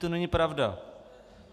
To není pravda.